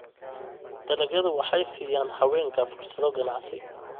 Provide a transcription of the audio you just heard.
Dalagyadu waxay siiyaan haweenka fursado ganacsi.